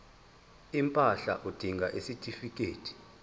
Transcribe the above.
impahla udinga isitifikedi